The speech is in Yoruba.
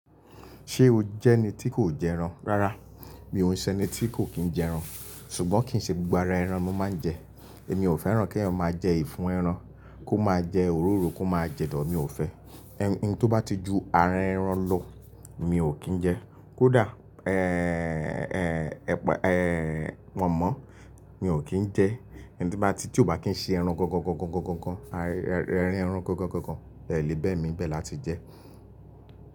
Ṣé o jẹ́ ẹni tí kò jẹ ẹran? Rárá, mi ò ṣe ẹni tí kò kí ń jẹ ẹran, ṣùgbọ́n kì í ṣe gbogbo ara ẹran ni mo máa ń jẹ. Èmi ò fẹ́ràn kí ẹran máa jẹ ìfun ẹran, kó máa jẹ òróró, kó máa jẹ dọ̀, mi ò fẹ́. Ohun tí ó bá ti ju ara ẹran lọ, mi ò kí ń jẹ. Kódà, ẹ́, ẹ́, ẹ́, epa ee pọ̀nmo, mi ò kí ń jẹ. Ohun tí bá ti, tí ò bá kí ń ṣe ẹran gọ́ńgọ́ńgọ́ńgọ́ńgọ́ńgọ́ńgọ́ń, ẹran gọ́ńgọ́ńgọ́ńgọ́ńgọ́ń, bẹ́ẹ̀ ni, bẹ́ẹ̀ ni bẹ́ẹ̀ la ti jẹ.